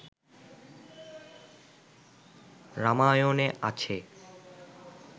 রামায়ণে আছে